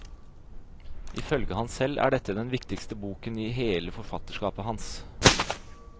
Ifølge ham selv er dette den viktigste boken i hele forfatterskapet hans.